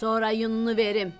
Sonra yununu verim.